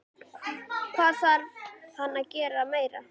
Hvað þarf hann að gera meira?